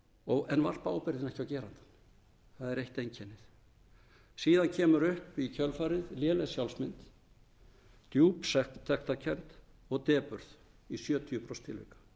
en varpa ábyrgðinni ekki á gerandann það er eitt einkennið síðan kemur upp í kjölfarið léleg sjálfsmynd djúp sektarkennd og depurð í sjötíu prósent